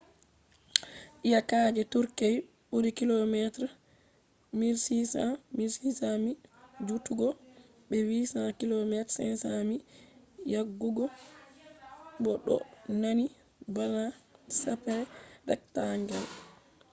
iyakaji turkey ɓuri kilometres 1,600 1,000 mi jutugo be 800km 500 mi yajugo bo ɗo nandi bana shape rectangle